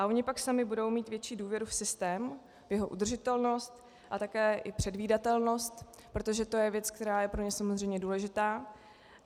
A oni pak sami budou mít větší důvěru v systém, v jeho udržitelnost a také i předvídatelnost, protože to je věc, která je pro ně samozřejmě důležitá.